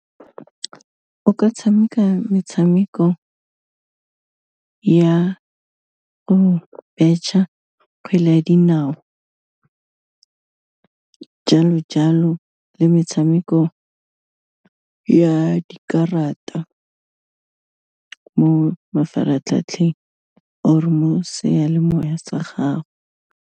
O ka tshameka metshameko ya go betšha kgwele ya dinao, jalo-jalo le metshameko ya dikarata mo mafaratlhatlheng or-e mo seyalemoya sa gago.